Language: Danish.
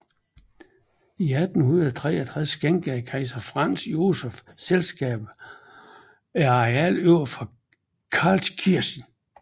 I 1863 skænkede kejser Franz Josef selskabet et areal over for Karlskirche